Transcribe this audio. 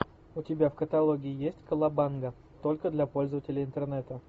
у тебя в каталоге есть колобанга только для пользователей интернета